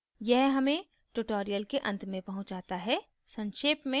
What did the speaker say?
यह हमें tutorial के अंत में पहुँचाता है संक्षेप में